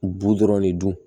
Bu dɔrɔn de dun